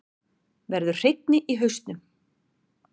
Verður hreinni í hausnum.